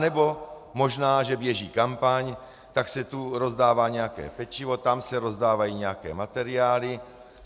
Anebo možná že běží kampaň, tak se tu rozdává nějaké pečivo, tam se rozdávají nějaké materiály.